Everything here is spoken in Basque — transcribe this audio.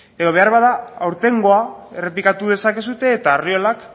edo beharbada aurtengoa errepikatu dezakezue eta arriolak